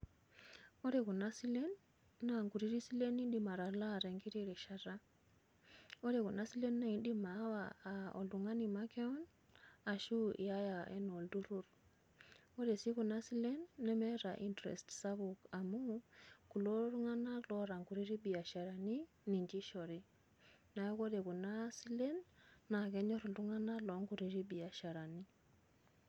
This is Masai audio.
Ore kuna silen na kutitik silen nidim atalaa tenkiti rishata. Ore kuna silen naa idim awaa aa oltung'ani makeon ashu iyaya ena olturur. Ore sii kuna silen nemeeta interest sapuk amuu kulo tung'ana otaa kutitik biasharani ninche ishori. Neeku ore kuna silen naa kenyor iltung'ana loo kutiti biasharani.